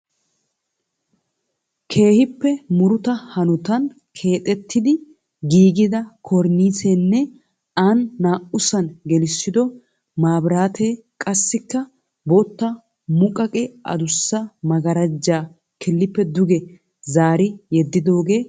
Keehiippe muruta hanotan keexxettidi giigida kornissenne ani na'usan gelissido mabiraatee qassikka bootta muqaqe adussa magaaraajaa kilippe duge zaari yedidoogee beettees.